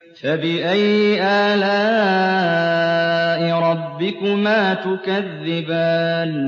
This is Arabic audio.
فَبِأَيِّ آلَاءِ رَبِّكُمَا تُكَذِّبَانِ